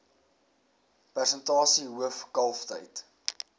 persentasie hoof kalftyd